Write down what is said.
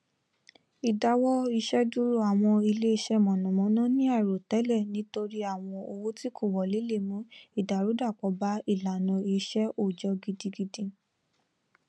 ìdáwọiṣẹdúró àwọn iléiṣẹ mànnàmánná ní àìròtẹlẹ nítorí àwọn owó tí kò wọlé le mú ìdàrúdàpọ bá ìlànà iṣẹ òòjọ gidigidi